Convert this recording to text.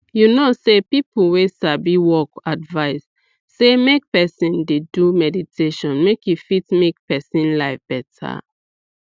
make i talk true as i bin don know way dem dey take do family planning don change as even me take dey relate mysef.